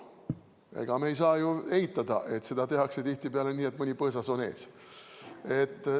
Ega me ei saa ju eitada, et seda tehakse tihtipeale nii, et mõni põõsas on ees.